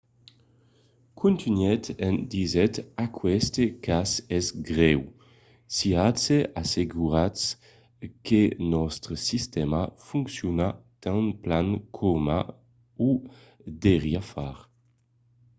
contunhèt en disent aqueste cas es grèu. siatz assegurats que nòstre sistèma fonciona tan plan coma o deuriá far.